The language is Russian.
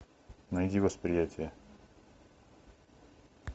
найди восприятие